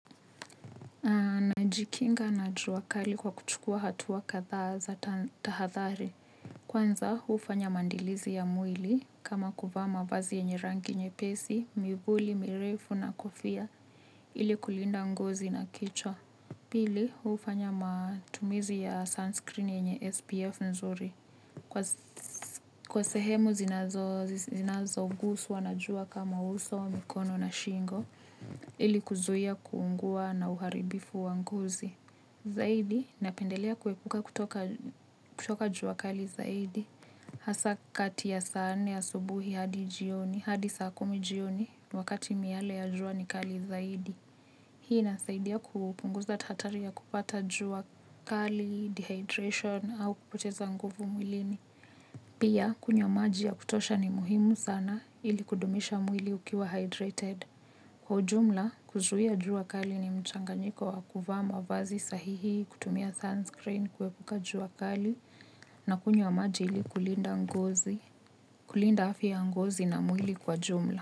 Najikinga na jua kali kwa kuchukua hatua kadha za tahathari. Kwanza, ufanya mandilizi ya mwili kama kuvaa mavazi yenye rangi nyepesi, mivuli, mirefu na kofia ili kulinda ngozi na kichwa. Pili, ufanya matumizi ya sunscreen yenye SPF nzuri. Kwa sehemu zinazoguswa najua kama uso, mikono na shingo, ili kuzuia kuungua na uharibifu wa ngozi. Zaidi, napendelea kuepuka kutoka jua kali zaidi. Hasa kati ya saa nne asubuhi hadi jioni, hadi saa kumi jioni, wakati miale ya jua ni kali zaidi. Hii nasaidia kupunguza tatari ya kupata jua kali, dehydration, au kupoteza nguvu mwilini. Pia, kunywa maji ya kutosha ni muhimu sana ili kudumisha mwili ukiwa hydrated. Kwa ujumla, kuzuhia jua kali ni mchanganyiko wa kuvaa mavazi sahihi, kutumia sunscreen, kwepuka jua kali, na kunywa maji ili kulinda ngozi, kulinda afya ya ngozi na mwili kwa jumla.